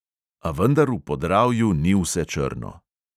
A vendar v podravju ni vse črno.